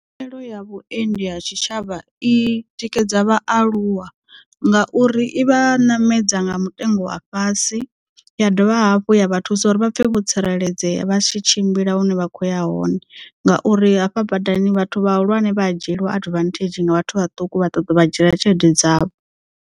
Tshumelo ya vhuendi ha tshitshavha i tikedza vhaaluwa ngauri i vha ṋamedza nga mutengo wa fhasi ya dovha hafhu ya vha thusa uri vha pfhe vho tsireledzea vha tshi tshimbila hune vha khoya hone ngauri hafha badani vhathu vhahulwane vha a dzhieliwa adivanthedzhi nga vhathu vhaṱuku vha ṱoḓa u vha dzhiela tshelede dzavho.